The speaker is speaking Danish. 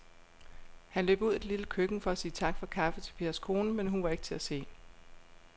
Han løb ud i det lille køkken for at sige tak for kaffe til Pers kone, men hun var ikke til at se.